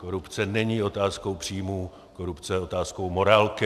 Korupce není otázkou příjmů, korupce je otázkou morálky.